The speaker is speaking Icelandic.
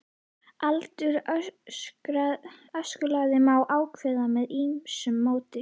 Aldur öskulaga má ákveða með ýmsu móti.